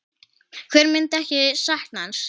Hver myndi ekki sakna hans?